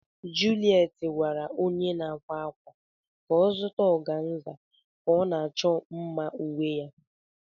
Juliet gwara onye na-akwa akwa ka ọ zụta organza ka ọ na-achọ mma uwe ya.